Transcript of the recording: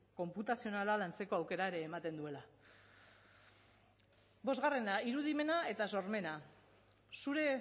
konputazionala lantzeko aukera ere ematen duela bosgarrena irudimena eta sormena zure